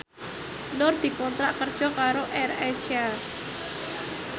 Nur dikontrak kerja karo AirAsia